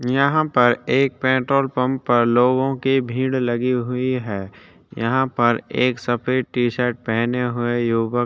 यहाँ पर एक पेट्रोल पंप पर लोगो की भीड़ लगी हुई है यहाँ पर एक सफ़ेद टी शर्ट पहने हुए युवक --